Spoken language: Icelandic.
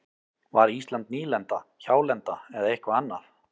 Var Ísland nýlenda, hjálenda eða eitthvað annað?